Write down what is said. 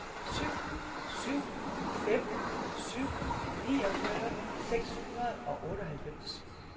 syv syv fem syv niogfyrre seks hundrede og otteoghalvfems